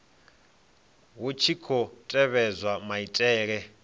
hu tshi khou tevhedzwa maitele